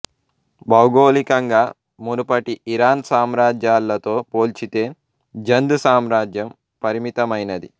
భౌగోళికంగా మునుపటి ఇరాన్ సామ్రాజ్యాలతో పోల్చితే జంద్ సామ్రాజ్యం పరిమితమైనది